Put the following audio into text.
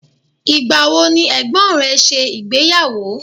Ìgbà wo ni ẹ̀gbọ́n rẹ ṣe ìgbéyàwó?